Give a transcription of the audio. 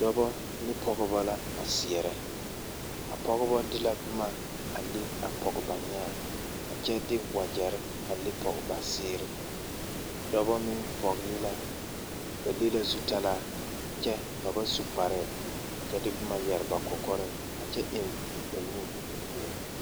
Dɔba ne pɔgeba la a seɛrɛ a pɔgeba de la boma a le a pɔge ba nyãã a kyɛ de wagyɛre a le pɔge ba seere a dɔba meŋ vɔgle la ba le la zutalaa a kyɛ ba ba su kparɛɛ kyɛ de boma yɛre ba kɔkɔreŋ a kyɛ eŋ ba nu meŋ.